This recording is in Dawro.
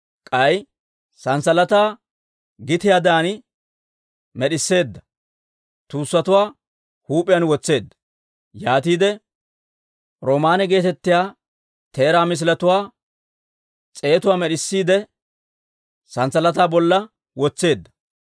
K'ay sanssalataa gitiyaadan med'isseedda, tuussatuwaa huup'iyaan wotseedda; yaatiide roomaanne geetettiyaa teeraa misiletuwaa s'eetatuwaa med'isseedda, sanssalataa bolla wotseedda.